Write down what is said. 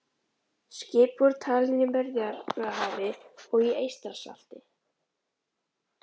Skip voru talin í Miðjarðarhafi og í Eystrasalti.